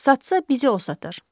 Satsa, bizi o satar.